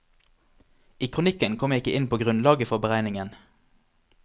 I kronikken kom jeg ikke inn på grunnlaget for beregningen.